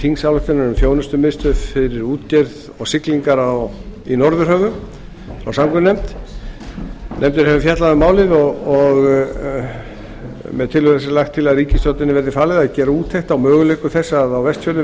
þingsályktunar um þjónustumiðstöð fyrir útgerð og siglingar í norðurhöfum frá samgöngunefnd nefndin hefur fjallað um málið með tillögu þessari er lagt til að ríkisstjórninni verði falið að gera úttekt á möguleikum þess að á vestfjörðum